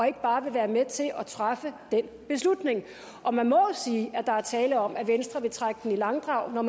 ikke bare være med til at træffe den beslutning og man må jo sige at der er tale om at venstre vil trække den i langdrag når